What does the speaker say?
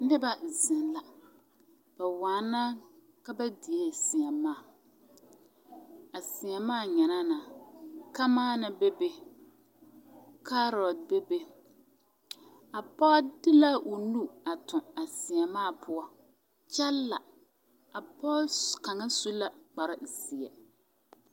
Noba zeŋ la bawaana ka ba diee seemaa a seemaa nyɛnaana kamaana bebe kaarote bebe a pɔge de la o nu a toŋ a seemaa poɔ kyɛ la a pɔge su la kparezeɛ.